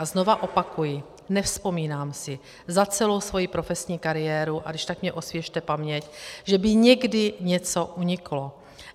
A znovu opakuji, nevzpomínám si za celou svoji profesní kariéru, a když tak mi osvěžte paměť, že by někdy něco uniklo.